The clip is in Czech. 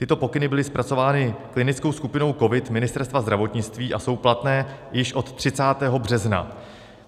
Tyto pokyny byly zpracovány klinickou skupinou COVID Ministerstva zdravotnictví a jsou platné již od 30. března.